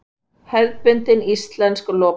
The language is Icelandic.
Hefðbundin íslensk lopapeysa.